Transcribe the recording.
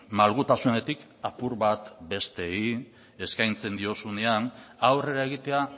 malgutasunetik apur bat besteei eskaintzen diozunean aurrera egitea